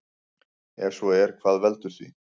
Ef svo er hvað veldur því?